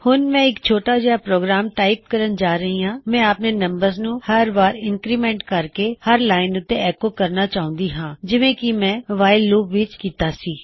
ਹੁਣ ਮੈਂ ਇੱਕ ਛੋਟਾ ਜਿਹਾ ਪ੍ਰੋਗਰਾਮ ਟਾਇਪ ਕਰਨ ਜਾ ਰਹੀ ਹਾਂ ਮੈਂ ਆਪਣੇ ਨੰਬਰਜ਼ ਨੂੰ ਹਰ ਵਾਰ ਇੰਨਕਰੀਮੈਨਟ ਕਰਕੇ ਹਰ ਲਾਇਨ ਉੱਤੇ ਐੱਕੋ ਕਰਨਾ ਚਾਹੁੰਦਾ ਹਾਂ ਜਿਵੇਂ ਕੀ ਮੈਂ ਵਾਇਲ ਲੂਪ ਵਿੱਚ ਕਿੱਤਾ ਸੀ